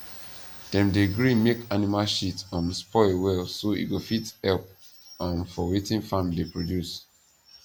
dem dey gree make animal shit um spoil well so e go fit help um for wetin farm dey produce